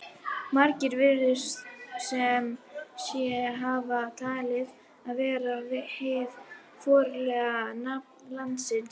Margir virðast sem sé hafa talið það vera hið formlega nafn landsins.